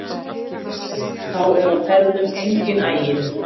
Þá er á ferðum enginn aginn